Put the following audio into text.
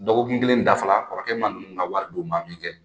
Dɔgɔkun kelen dafara kɔrɔkɛ ma ninnu ka wari d'u ma min kɛ